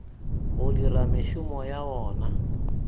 go dira mešomo ya wona